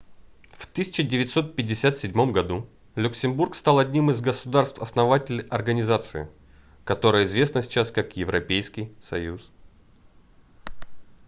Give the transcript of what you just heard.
в 1957 году люксембург стал одним из государств-основателей организации которая известна сейчас как европейский союз